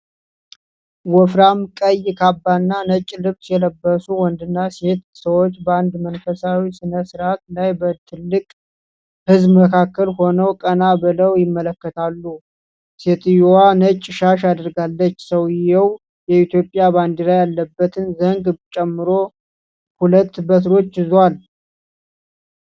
ወፍራም ቀይ ካባና ነጭ ልብስ የለበሱ ወንድና ሴት ሰዎች በአንድ መንፈሳዊ ሥነ-ሥርዓት ላይ በትልቅ ህዝብ መካከል ሆነው ቀና ብለው ይመለከታሉ። ሴትየዋ ነጭ ሻሽ አድርጋለች። ሰውየው የኢትዮጵያ ባንዲራ ያለበትን ዘንግ ጨምሮ ሁለት በትሮች ይዟል።